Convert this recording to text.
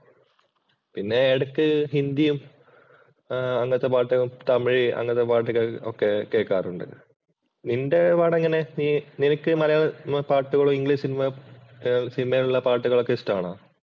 പിന്നെ എടയ്ക്ക് ഹിന്ദിയും അങ്ങനത്തെ പാട്ടുകൾ തമിഴ് അങ്ങനത്തെ പാട്ടുകൾ ഒക്കെ കേൾക്കാറുണ്ട്. നിന്‍റെ പാട് എങ്ങനെ? നീ നിനക്ക് മലയാള പാട്ടുകളും, ഇംഗ്ലീഷ് സിനിമയിലുള്ള പാട്ടുകൾ ഒക്കെ ഇഷ്ടാണോ?